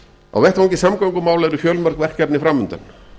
á vettvangi samgöngumála eru fjölmörg verkefni fram undan